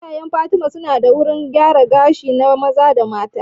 Iyayen fatima su na da wurin gyaran gashi na maza da mata